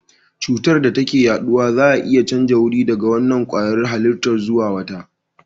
Cutar da ke yaduwa za a iya canjawa wuri daga wannan kwayar halitta zuwa wata